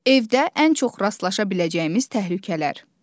Evdə ən çox rastlaşa biləcəyimiz təhlükələr.